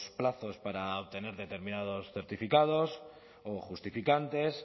plazos para obtener determinados certificados o justificantes